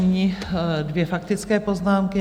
Nyní dvě faktické poznámky.